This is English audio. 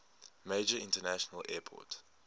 major international airport